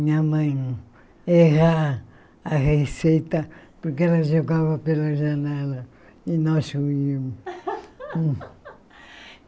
Minha mãe errar a receita porque ela jogava pela janela e nós comíamos.